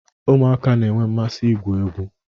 Ụmụaka na-enwe mmasị igwu egwu